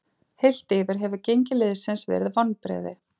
Heilt yfir hefur gengi liðsins verið vonbrigði.